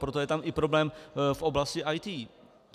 Proto je tam i problém v oblasti IT.